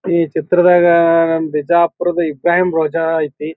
ಈ ಚಿತ್ರದಾಗ ಬಿಜಾಪುರದ ಇಬ್ರಾಹಿಂ ರೋಜಾ ಐತಿ.